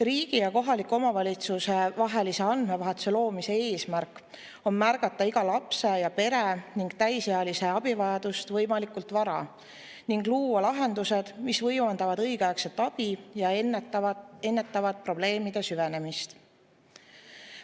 Riigi ja kohaliku omavalitsuse vahelise andmevahetuse loomise eesmärk on märgata iga lapse ja pere ning täisealise abivajadust võimalikult vara ning luua lahendused, mis võimaldavad õigeaegset abi ja ennetavad probleemide süvenemist.